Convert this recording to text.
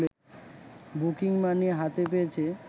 booking money হাতে পেয়েছে